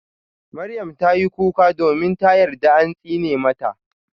Maryam tayi kuka domin ta yarda an tsine mata.